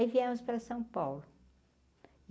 Aí viemos para São Paulo.